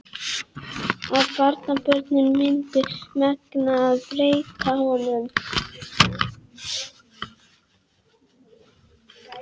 Að barnabörnin myndu megna að breyta honum.